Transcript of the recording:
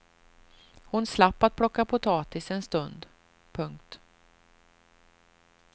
Hon slapp att plocka potatis en stund. punkt